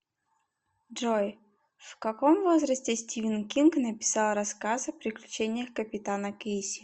джой в каком возрасте стивен кинг написал рассказ о приключениях капитана кейси